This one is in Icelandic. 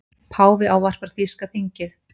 Páfi ávarpar þýska þingið